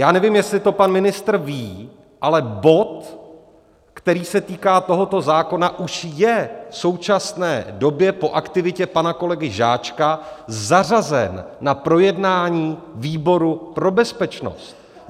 Já nevím, jestli to pan ministr ví, ale bod, který se týká tohoto zákona, už je v současné době po aktivitě pana kolegy Žáčka zařazen na projednání výboru pro bezpečnost.